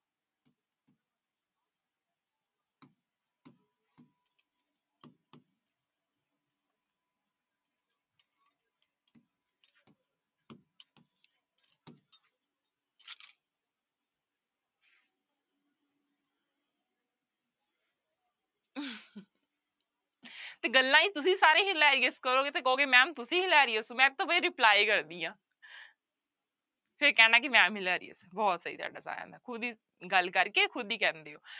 ਤੇ ਗੱਲਾਂ ਹੀ ਤੁਸੀਂ ਸਾਰੇ hilarious ਕਰੋਗੇ ਤੇ ਕਹੋਗੇ ma'am ਤੁਸੀਂ hilarious ਹੋ ਮੈਂ ਤੋ ਬਈ reply ਕਰਦੀ ਹਾਂ ਫਿਰ ਕਹਿਣਾ ਕਿ ma'am hilarious ਹੈ ਬਹੁਤ ਸਹੀ ਤੁਹਾਡਾ ਸਾਰਿਆਂ ਦਾ ਖੁਦ ਹੀ ਗੱਲ ਕਰਕੇ ਖੁੱਦ ਹੀ ਕਹਿ ਦਿੰਦੇ ਹੋ।